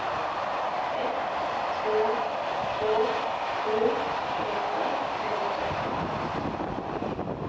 ett två två sju tjugoåtta trehundratrettio